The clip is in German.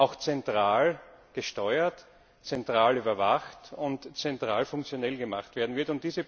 auch zentral gesteuert, zentral überwacht und zentral funktionell gemacht wird.